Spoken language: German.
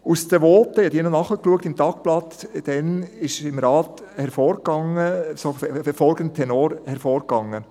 Aus den damaligen Voten im Rat – ich habe diese im Tagblatt noch nachgelesen – ging folgender Tenor hervor: